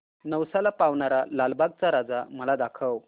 नवसाला पावणारा लालबागचा राजा मला दाखव